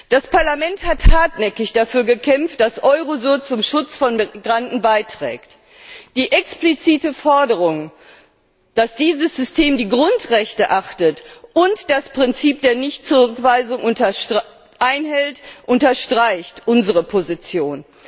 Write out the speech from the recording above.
Das Parlament hat hartnäckig dafür gekämpft, dass Eurosur zum Schutz von Migranten beiträgt. Die explizite Forderung, dass dieses System die Grundrechte achtet und das Prinzip der Nichtzurückweisung einhält, unterstreicht unsere Position.